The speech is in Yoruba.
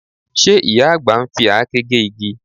Ṣe ìyá àgbà ń fi àáké gé igi?